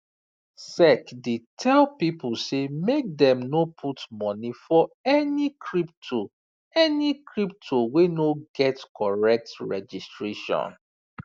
sec dey tell people say make dem no put money for any crypto any crypto wey no get correct registration